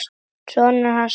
Sonur hans Smára.